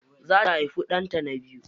Za ta haifi ɗanta na biyu.